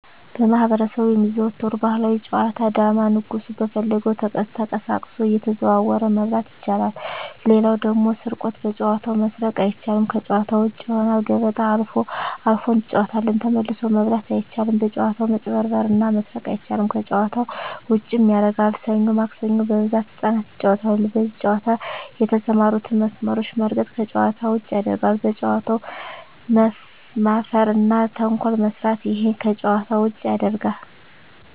በማህበረሰቡ የሚዘወተሩ ባህላዊ ጨዋታ ዳማ ንጉሡ በፈለገው ተቀሳቅሶ እየተዘዋወረ መብላት ይችላል ሌላው ደግሞ ስርቆት በጨዋታው መስረቅ አይቻልም ከጭዋታ ውጭ ይሆናል ገበጣ አልፎ አልፎ እንጫወታለን ተመልሶ መብላት አይቻልም በጭዋታው መጭበርበር እና መስረቅ አይቻልም ከጨዋታው ዉጭም ያረጋል ሠኞ ማክሰኞ በብዛት ህጻናት ይጫወታሉ በዚህ ጨዋታ የተሠማሩትን መስመሮች መርገጥ ከጨዋታ ውጭ ያረጋል በጨዋታው መፈረ እና ተንኮል መስራት እሄም ከጨዋታ ውጭ ያረጋል